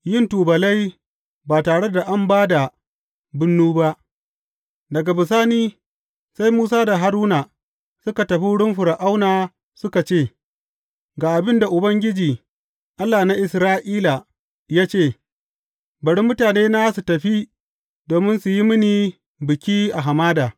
Yin tubalai ba tare da an ba da bunnu ba Daga bisani sai Musa da Haruna suka tafi wurin Fir’auna suka ce, Ga abin da Ubangiji, Allah na Isra’ila ya ce, Bari mutanena su tafi domin su yi mini biki a hamada.’